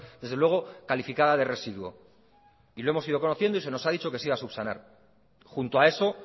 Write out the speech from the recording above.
desde luego calificada de residuo y lo hemos ido conociendo y se nos ha dicho que se iba a subsanar junto a eso